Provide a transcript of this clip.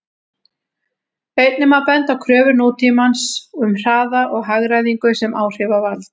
Einnig má benda á kröfur nútímans um hraða og hagræðingu sem áhrifavald.